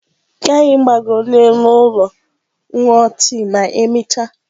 Ka anyị gbagoro n'elu ụlọ rie tii ma emechaa.